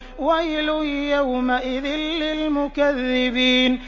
وَيْلٌ يَوْمَئِذٍ لِّلْمُكَذِّبِينَ